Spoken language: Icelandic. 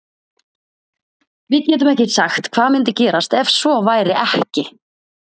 Við getum ekki sagt hvað myndi gerast ef svo væri ekki.